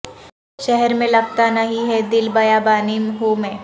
شہر میں لگتا نہیں ہے دل بیابانی ہوں میں